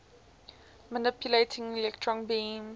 manipulating electron beams